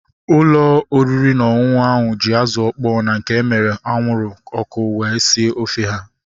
Ụlọ oriri na ọṅụṅụ ahu ji azụ ọkpọ ma nke emere anwụrụ ọkụ wee sie ofe ha